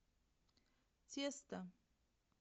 тесто